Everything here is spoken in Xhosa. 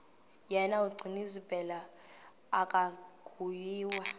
yena gcinizibele akanguye